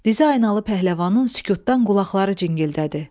Dizaynalı pəhləvanın sükutdan qulaqları cingildədi.